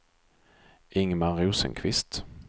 Ingmar Rosenqvist